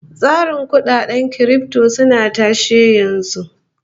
Tsarin kudaden kirifto suna tashe yanzu